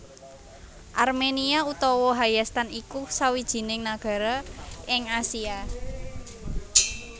Arménia utawa Hayastan iku sawijining nagara ing Asia